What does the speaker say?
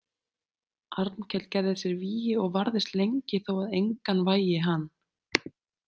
Arnkell gerði sér vígi og varðist lengi þó að engan vægi hann.